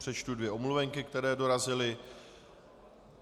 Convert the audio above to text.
Přečtu dvě omluvenky, které dorazily.